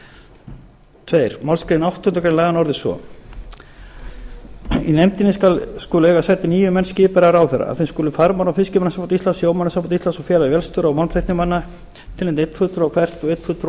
sjávarútvegsráðuneytisins b önnur málsgrein áttundu grein laganna orðast svo í nefndinni eiga sæti níu menn skipaðir af ráðherra af þeim skulu farmanna og fiskimannasamband íslands sjómannasamband íslands og félag vélstjóra og málmtæknimanna tilnefna einn fulltrúa hvert og einn fulltrúa